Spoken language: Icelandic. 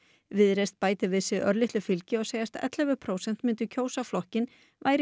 viðreisn bætir við sig örlitlu fylgi og segjast ellefu prósent myndu kjósa flokkinn væru